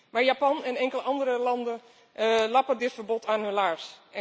Maar Japan en enkele andere landen lappen dit verbod aan hun laars.